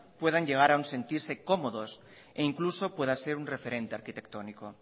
puedan llegar a un sentirse cómodos e incluso pueda ser un referente arquitectónico